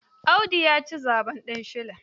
Audu ya ci zaɓen kansila.